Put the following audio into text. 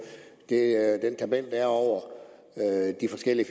den er over de forskellige